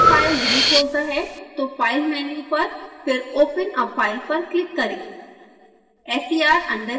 अगर यह फाइल नहीं खोलता है तो file मेन्यु पर फिर open a file पर क्लिक करें